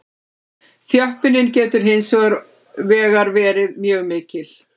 Þjöppunin getur hins vegar verið mjög mikil.